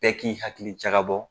Bɛɛ k'i hakili jagabɔ